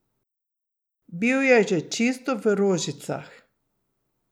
Bil je že čisto v rožicah.